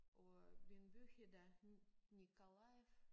Og øh min by hedder Mykolajiv